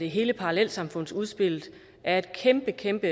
hele parallelsamfundsudspillet er et kæmpe kæmpe